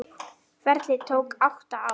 Ferlið tók átta ár.